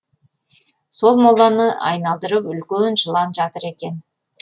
сол моланы айналдырып үлкен жылан жатыр екен